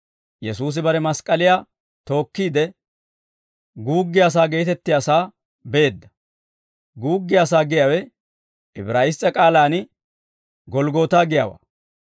Yesuusi bare mask'k'aliyaa tookkiide, Guuggiyaasaa geetettiyaasaa beedda. «Guuggiyaasaa» giyaawe Ibraayiss's'e k'aalaan «Golggootaa» giyaawaa.